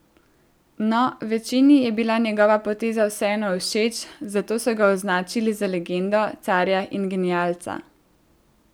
No, večini je bila njegova poteza vseeno všeč, zato so ga označili za legendo, carja in genialca.